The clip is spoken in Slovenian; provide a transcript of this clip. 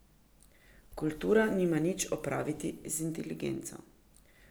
Kultura nima nič opraviti z inteligenco.